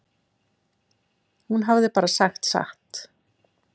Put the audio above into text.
Hún hafði bara sagt satt.